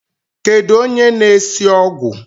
Kedu onye na-esi ogwụ?